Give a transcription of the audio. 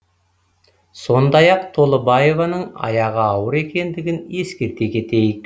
сондай ақ толыбаеваның аяғы ауыр екендігін ескерте кетейік